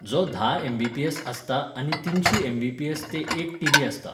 जो धा M B P S आसता आनी तिनशी एम बी पी एस ते एक टी बी आसता.